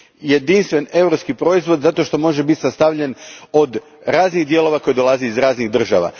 Jedinstven europski proizvod zato što može biti sastavljen od raznih dijelova koji dolaze iz raznih država.